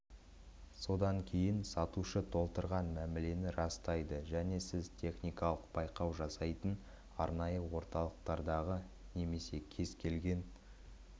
содан кейін сатушы толтырған мәмілені растайды және сіз техникалық байқау жасайтын арнайы орталықтардағы немесе кез-келген